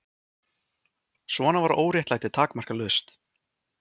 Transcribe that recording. Svona var óréttlætið takmarkalaust.